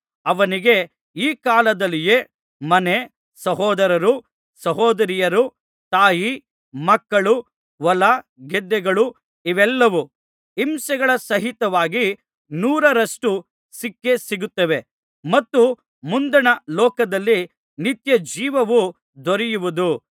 ಅವನಿಗೆ ಈ ಕಾಲದಲ್ಲಿಯೇ ಮನೆ ಸಹೋದರರು ಸಹೋದರಿಯರು ತಾಯಿ ಮಕ್ಕಳು ಹೊಲಗದ್ದೆಗಳು ಇವೆಲ್ಲವೂ ಹಿಂಸೆಗಳ ಸಹಿತವಾಗಿ ನೂರರಷ್ಟು ಸಿಕ್ಕೇ ಸಿಗುತ್ತವೆ ಮತ್ತು ಮುಂದಣ ಲೋಕದಲ್ಲಿ ನಿತ್ಯಜೀವವು ದೊರೆಯುವುದು